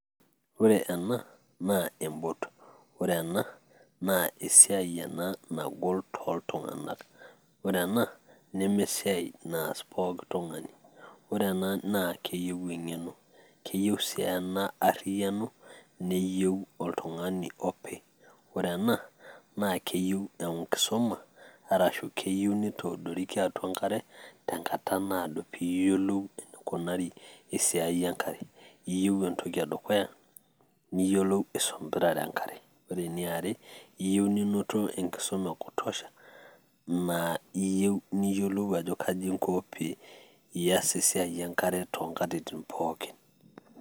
ore ena naa e boat ore ena naa esiai nagol tooltunganak, ore enna neme esiia naas pooki tungani, ore ena naa keyieu eng'eno, keyieu sii ena enariyiano neyieu oltungani opi, ore ena naa keyieu enkisuma. arashu kiyieu nitoodorikia atua enkare. enkata naado pee iyiolou enekinari esiai enkai. niyieu entoki edukya, niyiolou aisombirare enkare, ore eniare niyieu ninoto enkisuma e kutossha, naa iyieu niyiolou ajo kaji inko pee ias esiai enkare too nktitin pookin.